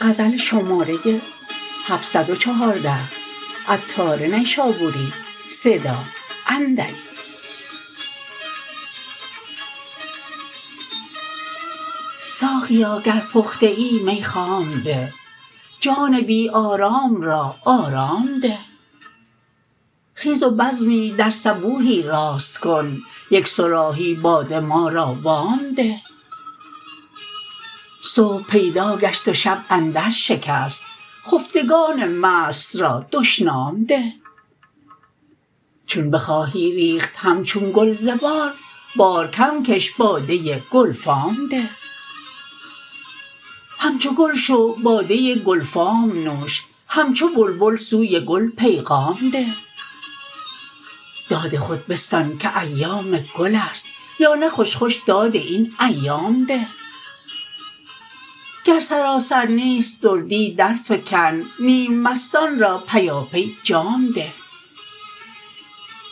ساقیا گر پخته ای می خام ده جان بی آرام را آرام ده خیزو بزمی در صبوحی راست کن یک صراحی باده ما را وام ده صبح پیدا گشت و شب اندر شکست خفتگان مست را دشنام ده چون بخواهی ریخت همچون گل ز بار بار کم کش باده گلفام ده همچو گل شو باده گلفام نوش همچو بلبل سوی گل پیغام ده داد خود بستان که ایام گل است یا نه خوش خوش داد این ایام ده گر سراسر نیست دردی در فکن نیم مستان را پیاپی جام ده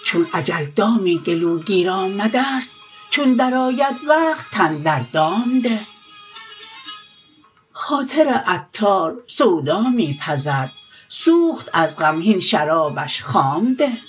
چون اجل دامی گلوگیر آمده است چون درآید وقت تن در دام ده خاطر عطار سودا می پزد سوخت از غم هین شرابش خام ده